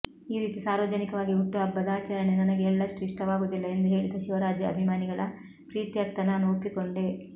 ಈ ರೀತಿ ಸಾರ್ವಜನಿಕವಾಗಿ ಹುಟ್ಟುಹಬ್ಬದಾಚರಣೆ ನನಗೆ ಎಳ್ಳಷ್ಟೂ ಇಷ್ಟವಾಗುವುದಿಲ್ಲ ಎಂದು ಹೇಳಿದ ಶಿವರಾಜ್ ಅಭಿಮಾನಿಗಳ ಪ್ರೀತ್ಯರ್ಥ ನಾನು ಒಪ್ಪಿಕೊಂಡೆ